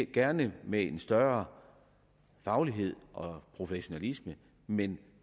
gerne med en større faglighed og professionalisme men